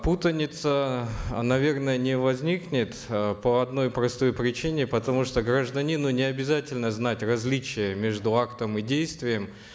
путаница наверно не возникнет э по одной простой причине потому что гражданину не обязательно знать различия между актом и действием